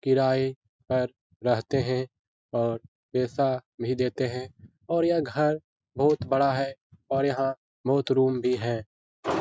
किराये पर रहते है और पैसा भी देते है और ये घर बहुत बड़ा है और यहां बहुत रूम भी है।